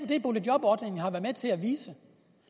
det boligjobordningen har været med til at vise